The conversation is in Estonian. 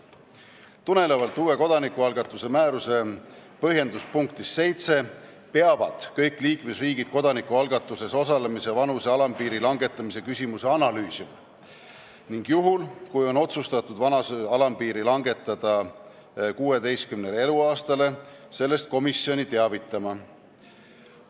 Tulenevalt uue kodanikualgatuse määruse põhjenduse punktist 7 peavad kõik liikmesriigid kodanikualgatuses osalemise vanuse alampiiri langetamise küsimust analüüsima ning juhul, kui on otsustatud vanuse alampiiri langetada 16 eluaastale, tuleb sellest komisjoni teavitada.